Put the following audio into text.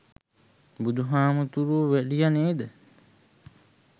බුදු හාමුදුරුවො වැඩියා නේද